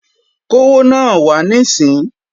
Kówó náà wá níìsín!